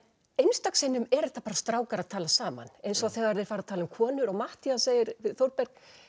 einstaka sinnum eru þetta bara strákar að tala saman eins og þegar þeir fara að tala um konur og Matthías segir við Þórberg